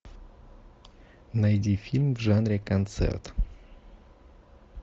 найди фильм в жанре концерт